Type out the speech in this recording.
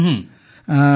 ହଁ ହଁ